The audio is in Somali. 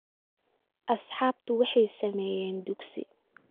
Asxaabtu waxay sameeyeen dugsi